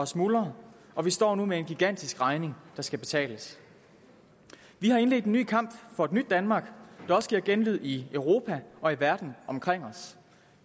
smuldre og vi står nu med en gigantisk regning der skal betales vi har indledt en ny kamp for et nyt danmark der også giver genlyd i europa og i verden omkring os